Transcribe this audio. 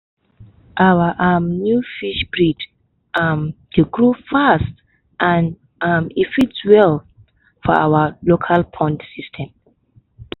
our um new fish breed um dey grow fast and um e fit well for our local pond system.